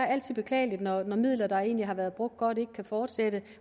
altid beklageligt når midler der egentlig har været brugt godt ikke kan fortsætte